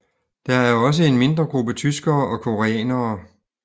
Der er også en mindre gruppe tyskere og koreanere